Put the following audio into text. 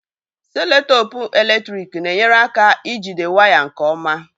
Seloteepu eletrik na-enyere aka ijide wires nke ọma.